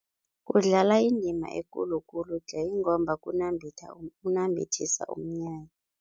Kudlala indima ekulu khulu tle ingomba kunambithisa umnyanya.